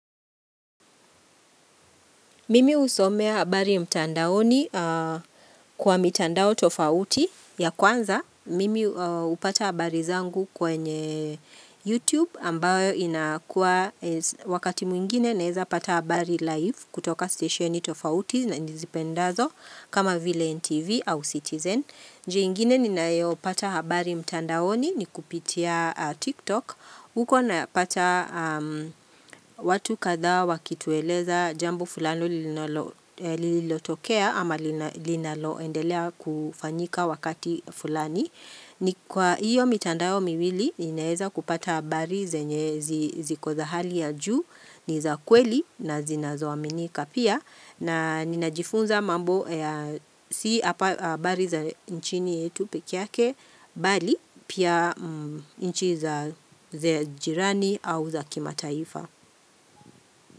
Mimi husomea habari mtandaoni kwa mitandao tofauti ya kwanza. Mimi hupata habari zangu kwenye YouTube ambayo inakuwa wakati mwingine naeza pata habari live kutoka stesheni tofauti na nizipendazo kama vile NTV au Citizen. Njia ingine ninayopata habari mtandaoni ni kupitia TikTok. Huko napata watu kadhaa wakitueleza jambo fulani lililotokea ama linaloendelea kufanyika wakati fulani. Ni kwa hiyo mitandao miwili ninaeza kupata habari zenye ziko za hali ya juu, ni za kweli na zinazoaminika.pia na ninajifunza mambo ya si habari za nchini yetu pekee yake mbali pia nchi za jirani au za kimataifa.